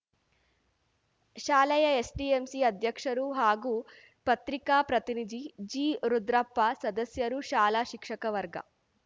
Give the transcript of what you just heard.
ಶಾಲೆಯ ಎಸ್‌ಡಿಎಂಸಿ ಅಧ್ಯಕ್ಷರು ಹಾಗೂ ಪ್ರತಿಕಾ ಪ್ರತಿನಿಧಿ ಜಿರುದ್ರಪ್ಪ ಸದಸ್ಯರು ಶಾಲ ಶಿಕ್ಷಕ ವರ್ಗ